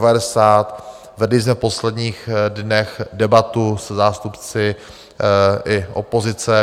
Vedli jsme v posledních dnech debatu se zástupci i opozice.